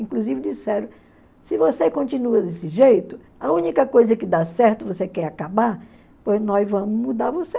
Inclusive disseram, se você continua desse jeito, a única coisa que dá certo, você quer acabar, pois nós vamos mudar você.